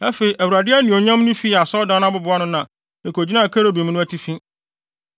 Afei Awurade anuonyam no fii asɔredan no abobow ano na ekogyinaa kerubim no atifi.